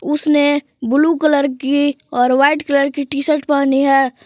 उसने blue colour की और वाइट कलर की टी शर्ट पहनी है।